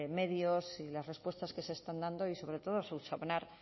medios y las respuestas que se están dando y sobre todo subsanar